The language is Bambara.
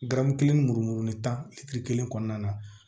Garamu kelen murumu ni tan kɔnɔna na